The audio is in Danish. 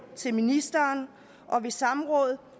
til ministeren og ved samråd